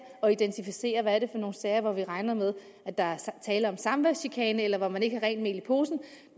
at identificere hvad det er for nogle sager hvor vi regner med at der er tale om samværschikane eller hvor man ikke har rent mel i posen